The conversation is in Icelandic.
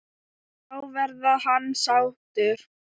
Þá verði hann sáttur.